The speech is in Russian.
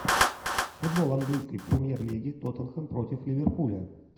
футбол английской премьер лиги тоттенхэм против ливерпуля